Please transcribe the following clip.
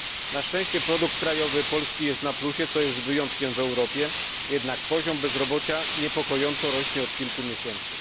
Na szczęście produkt krajowy Polski jest na plusie, co jest wyjątkiem w Europie, jednak poziom bezrobocia niepokojąco rośnie od kilku miesięcy.